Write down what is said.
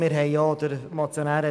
Der Motionär hat es gesagt: